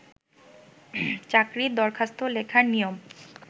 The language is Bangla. চাকরির দরখাস্ত লেখার নিয়ম